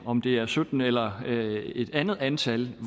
om det er sytten eller et andet antal